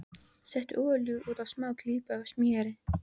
Settu olíu út á og smá klípu af smjöri.